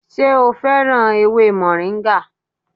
Ṣé o féràn ewé moringa?